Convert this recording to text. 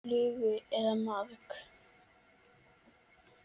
Flugu eða maðk.